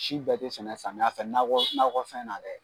Si bɛɛ tɛ sɛnɛ samiya fɛ nakɔ nakɔ fɛn na dɛ